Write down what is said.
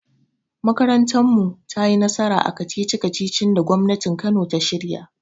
Makarantar mu tayi nasara a kacici-kacicin da gwamnatin kano ta shirya.